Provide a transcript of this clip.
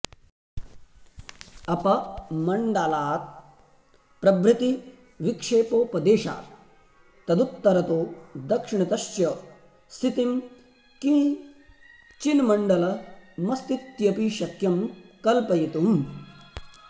अपमण्डालात् प्रभृति विक्षेपोपदेशात् तदुत्तरतो दक्षिणतश्च स्थितं किञ्चिन्मण्डलमस्तीत्यपि शक्यं कल्पयितुम्